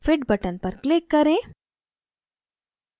fit button पर click करें